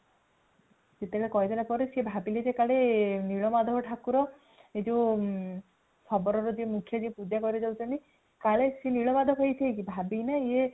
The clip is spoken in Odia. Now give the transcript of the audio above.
ଯେତେବେଳେ କହିଦେଲା ପରେ ସିଏ ଭାବିଲେ ଜେ କାଳେ ନୀଳମାଧବ ଠାକୁର, ଏ ଜଉ ସବରର ଯିଏ ମୁଖିଆ ଯିଏ ପୂଜା କରିବାକୁ ଯାଉଛନ୍ତି, କାଳେ ସିଏ ନୀଳମାଧବ ହେଇଥିବେ କି ଭାବିକିନା ଇଏ